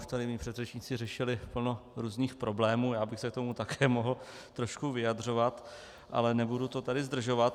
Už tady mí předřečníci řešili plno různých problémů, já bych se k tomu také mohl trošku vyjadřovat, ale nebudu to tady zdržovat.